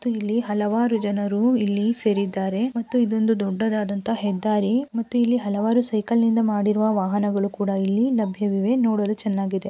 ಇಲ್ಲಿ ಹಲವಾರು ಜನರು ಇಲ್ಲಿ ಸೇರಿದ್ದಾರೆ ಮತ್ತು ಇದೊಂದು ದೊಡ್ಡದಾದಂತಹ ಹೆದ್ದಾರಿ ಇಲ್ಲಿ ಹಲವಾರು ಸೈಕಲ್ನಿಂದ ಮಾಡುವ ವಾಹನಗಳು ಕೂಡ ಇಲ್ಲಿ ಲಭ್ಯವಿವೆ ನೋಡಲು ಚೆನ್ನಾಗಿದೆ.